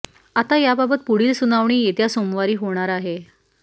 आता याबाबत पुढील सुनावणी येत्या सोमवारी होणार आहे